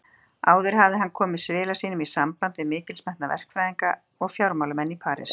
Áður hafði hann komið svila sínum í samband við mikilsmetna verkfræðinga og fjármálamenn í París.